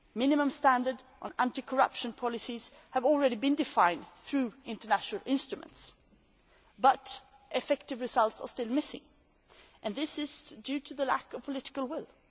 Minimum standards on anti corruption policies have already been defined through international instruments, but effective results are still missing and this is due to the lack of political will.